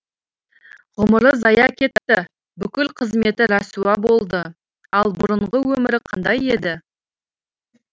ғұмыры зая кетті бүкіл қызметі рәсуа болды ал бұрынғы өмірі қандай еді